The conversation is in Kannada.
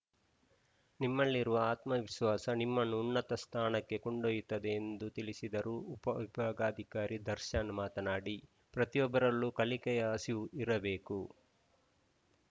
ನಿಮ್ಮಲ್ಲಿರುವ ಆತ್ಮವಿಶ್ವಾಸ ನಿಮ್ಮನ್ನು ಉನ್ನತ ಸ್ಥಾನಕ್ಕೆ ಕೊಂಡೊಯ್ಯುತ್ತದೆ ಎಂದು ತಿಳಿಸಿದರು ಉಪವಿಭಾಗಾಧಿಕಾರಿ ದರ್ಶನ್‌ ಮಾತನಾಡಿ ಪ್ರತಿಯೊಬ್ಬರಲ್ಲೂ ಕಲಿಕೆಯ ಹಸಿವು ಇರಬೇಕು